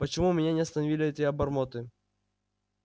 почему меня не остановили эти обормоты